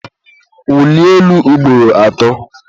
wulie elu ugboro atọ!